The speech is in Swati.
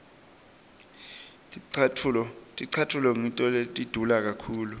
ticatfulo ngito letidule kakhulu